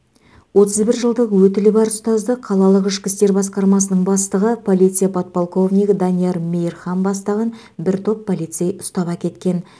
отыз бір жылдық өтілі бар ұстазды қалалық ішкі істер басқармасының бастығы полиция подполковнигі данияр мейірхан бастаған бір топ полицей ұстап әкеткен